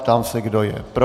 Ptám se, kdo je pro.